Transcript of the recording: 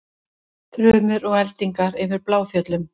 Þrumur og eldingar yfir Bláfjöllum